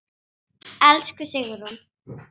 Elsku Sigrún.